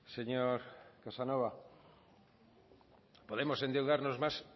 señor casanova podemos endeudarnos más